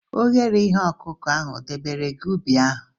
Oghere ihe ọkụkụ ahụ edobere gị ubi ahụ?